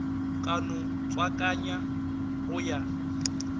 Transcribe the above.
ka no tswakanywa go ya